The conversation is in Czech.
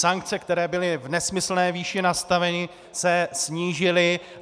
Sankce, které byly v nesmyslné výši nastaveny, se snížily.